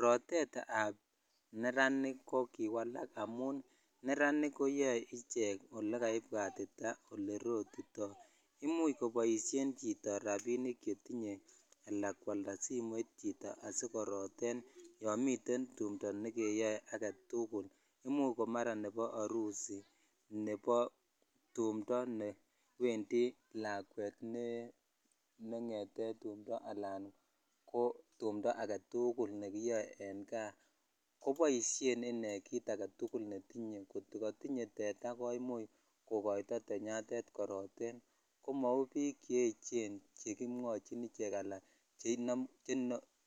Rotetab neranik kokiwalak amun neranik koyoe ichek olekaibwatitat olerotitoo imuch koboisien chito rapinik chetinye ala kwalda simoit chito netinye asikoroten yomiten tumdoo nekeyoe agetugul imuch komara nepo Arusi, nebo tumdoo newendi lakwet ne ng'etet tumdoo alan ko tumdoo agetugul nekiyoe en gaa koboisien inee kit agetugul netinye koto kotinye teta komuch kokoito tenyatet koroten komou biik cheechen chekomwochin icheck ala